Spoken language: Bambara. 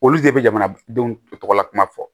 Olu de bɛ jamanadenw tɔgɔla kuma fɔ